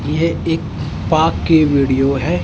ये एक पा के वीडियो है।